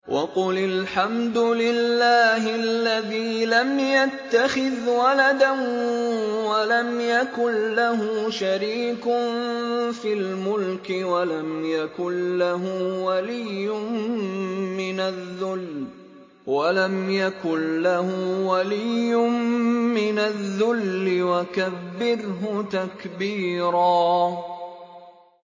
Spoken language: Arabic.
وَقُلِ الْحَمْدُ لِلَّهِ الَّذِي لَمْ يَتَّخِذْ وَلَدًا وَلَمْ يَكُن لَّهُ شَرِيكٌ فِي الْمُلْكِ وَلَمْ يَكُن لَّهُ وَلِيٌّ مِّنَ الذُّلِّ ۖ وَكَبِّرْهُ تَكْبِيرًا